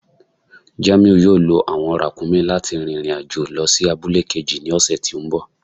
Jàmíù yóò lọ awọn ràkúmí̀ láti rìn irin-ajo lọ sí àbùlẹ̀ kéjì ni ọṣẹ̀ tí nbọ̀.